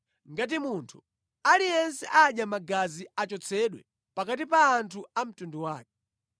Ngati munthu aliyense adya magazi achotsedwe pakati pa anthu a mtundu wake.’ ”